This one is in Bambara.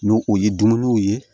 N'o o ye dumuniw ye